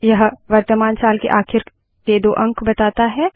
यह वर्तमान साल के आखिर दो अंक बताता है